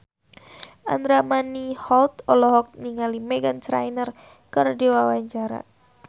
Andra Manihot olohok ningali Meghan Trainor keur diwawancara